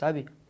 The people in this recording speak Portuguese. Sabe?